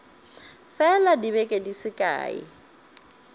fela dibeke di se kae